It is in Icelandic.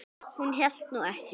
Hún hélt nú ekki.